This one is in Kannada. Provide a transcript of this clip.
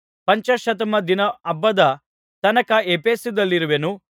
ಪಂಚಾಶತ್ತಮ ದಿನ ಹಬ್ಬದ ತನಕ ಎಫೆಸದಲ್ಲಿರುವೆನು